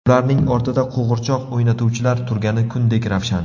Ularning ortida qo‘g‘irchoq o‘ynatuvchilar turgani kundek ravshan.